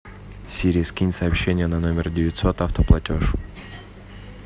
сири скинь сообщение на номер девятьсот автоплатеж